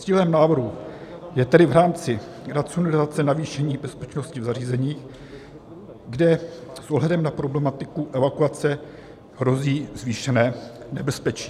Cílem návrhu je tedy v rámci racionalizace navýšení bezpečnosti v zařízeních, kde s ohledem na problematiku evakuace hrozí zvýšené nebezpečí.